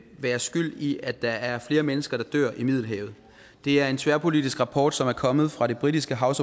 være skyld i at der er flere mennesker der dør i middelhavet det er en tværpolitisk rapport som er kommet fra det britiske house